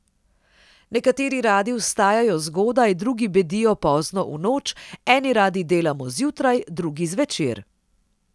Nekateri radi vstajajo zgodaj, drugi bedijo pozno v noč, eni radi delamo zjutraj, drugi zvečer.